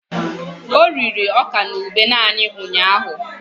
O riri ọka na ube naanị ụnyahụ?